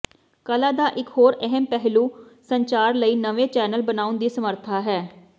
ਕਲਾ ਦਾ ਇੱਕ ਹੋਰ ਅਹਿਮ ਪਹਿਲੂ ਸੰਚਾਰ ਲਈ ਨਵੇਂ ਚੈਨਲ ਬਣਾਉਣ ਦੀ ਸਮਰੱਥਾ ਹੈ